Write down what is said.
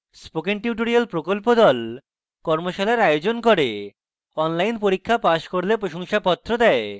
spoken tutorial প্রকল্প the কর্মশালার আয়োজন করে এবং online পরীক্ষা pass করলে প্রশংসাপত্র দেয়